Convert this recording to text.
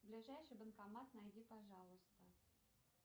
ближайший банкомат найди пожалуйста